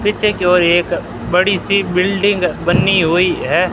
पीछे की ओर एक बड़ी सी बिल्डिंग बनी हुई हैं।